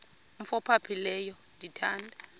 umf ophaphileyo ndithanda